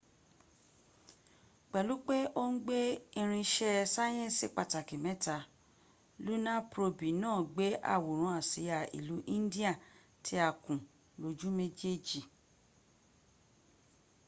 pẹlu pe o n gbe irin iṣẹ sayẹnsi pataki mẹta luna probi naa gbe aworan asia ilu indiya ti a kun loju mejej